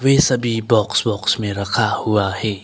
वे सभी बाक्स वाक्स में रखा हुआ है।